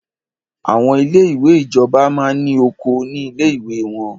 Àwọn ilé ìwé ìjọba máa ní oko ní ilé ìwé wọ́n.